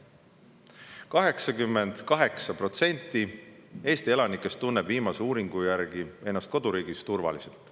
Viimase uuringu järgi tunneb 88% Eesti elanikest end koduriigis turvaliselt.